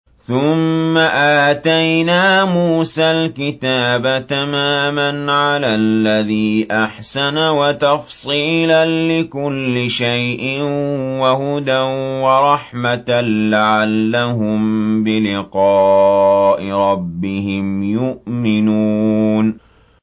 ثُمَّ آتَيْنَا مُوسَى الْكِتَابَ تَمَامًا عَلَى الَّذِي أَحْسَنَ وَتَفْصِيلًا لِّكُلِّ شَيْءٍ وَهُدًى وَرَحْمَةً لَّعَلَّهُم بِلِقَاءِ رَبِّهِمْ يُؤْمِنُونَ